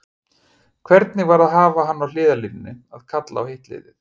Hvernig var að hafa hann á hliðarlínunni að kalla á hitt liðið?